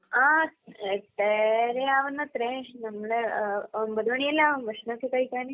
ആ. എട്ടരയാവുന്ന്. നമ്മള് ഒൻപത് മണിയെല്ലാമാവും ഭക്ഷണം ഒക്കെ കഴിക്കാൻ.